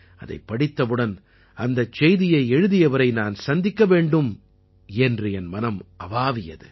அதைப் படித்த உடன் அந்தச் செய்தியை எழுதியவரை நான் சந்திக்க வேண்டும் என்று என் மனம் அவாவியது